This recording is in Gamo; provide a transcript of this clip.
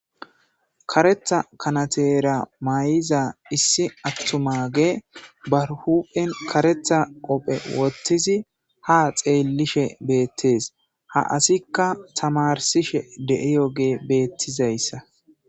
Karetha kanateera mayiza issi attumagey bar hu'en karetha qoobe wothizi haa xeelishe beetes ha asika tamarsishe de'iyogey beetizayssa.